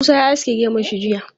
Musa ya aske gemun shi jiya.